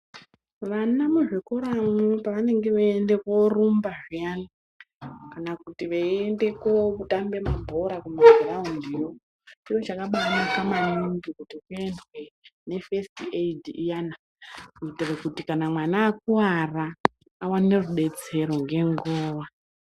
Vana muzvikoramwo pavanenge veiende korumba peyani kana kuti veiende kotambe mabhora mugiraundiyo chiro chakabanaka maningi kuti kuendwe nefesiti eidhi iyana kuitira kuti kana mwana akuwara awane rudetsero ngenguwa.